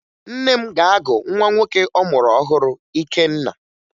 Nne m ga-agụ nwa nwoke ọ mụrụ ọhụrụ Ikenna